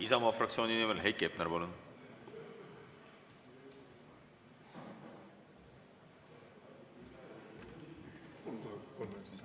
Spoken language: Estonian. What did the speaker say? Isamaa fraktsiooni nimel Heiki Hepner, palun!